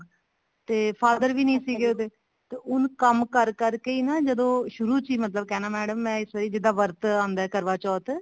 ਤੇ father ਵੀ ਨੀ ਸੀਗੇ ਉਹਦੇ ਤੇ ਉਹਨੇ ਕੰਮ ਕਰ ਕਰਕੇ ਜਦੋਂ ਸ਼ੁਰੂ ਚ ਕਹਿਣਾ madam ਜਿੱਦਾਂ ਵਰਤ ਆਉਂਦਾ ਕਰਵਾ ਚੌਥ